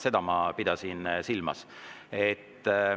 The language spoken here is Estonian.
Seda ma pidasin silmas.